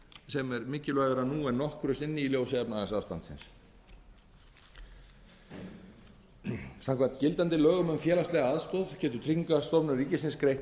sem er mikilvægara nú en nokkru sinni í ljósi efnahagsástandsins tvöfaldur barnalífeyrir samkvæmt gildandi lögum um félagslega aðstoð getur tryggingastofnunar ríkisins greitt